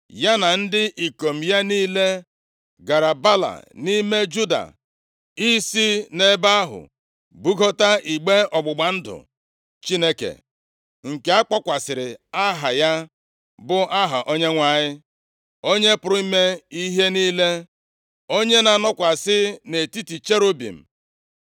Ya na ndị ikom ya niile gara Baala nʼime + 6:2 Ya bụ Kiriat Jearim. \+xt 1Ih 13:6\+xt* Juda, isi nʼebe ahụ bugota igbe ọgbụgba ndụ Chineke, nke akpọkwasịrị Aha ya, bụ aha Onyenwe anyị. Onye pụrụ ime ihe niile, onye na-anọkwasị nʼetiti cherubim.